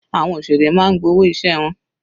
Àwọn òṣèré máa ń gba owó iṣẹ́ wọn.